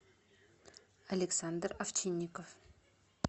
александр овчинников